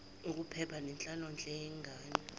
ukuphepha nenhlalonhle yengane